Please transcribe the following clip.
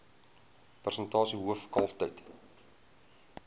persentasie hoof kalftyd